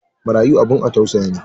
marayu abun a tausayawa ne.